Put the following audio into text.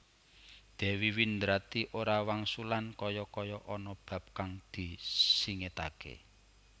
Dèwi Windradi ora wangsulan kaya kaya ana bab kang disingidaké